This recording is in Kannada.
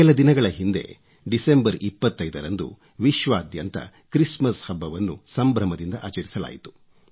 ಕೆಲ ದಿನಗಳ ಹಿಂದೆ ಡಿಸೆಂಬರ್ 25 ರಂದು ವಿಶ್ವಾದ್ಯಂತ ಕ್ರಿಸ್ಮಸ್ ಹಬ್ಬವನ್ನು ಸಂಭ್ರಮದಿಂದ ಆಚರಿಸಲಾಯಿತು